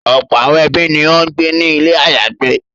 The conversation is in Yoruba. Ọ̀pọ̀ àwọn ẹbí ni ó ń gbé ní ilé àyágbé.